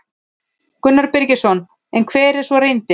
Gunnar Birgisson: En hver er svo reyndin?